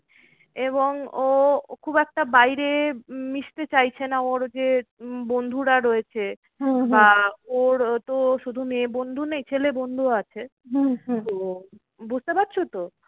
এবং ও খুব একটা বাইরে মিশতে চাইছে না। ওর যে বন্ধুরা রয়েছে ওর তো শুধু মেয়ে বন্ধু নেই ছেলে বন্ধুও আছে বুঝতে পারছো তো?